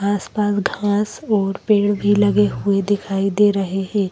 आसपास घास और पेड़ भी लगे हुए दिखाई दे रहे हैं।